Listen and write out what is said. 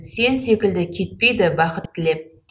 сен секілді кетпейді бақыт тілеп